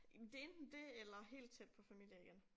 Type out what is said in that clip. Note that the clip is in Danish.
Hm det enten det eller helt tæt på familie igen